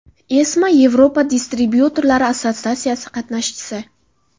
ESMA Yevropa distribyutorlar assotsiatsiyasi qatnashchisi.